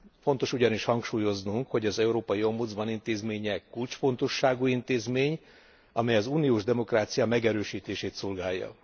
Fontos ugyanis hangsúlyoznunk, hogy az európai ombudsman intézménye kulcsfontosságú intézmény, amely az uniós demokrácia megerősítését szolgálja.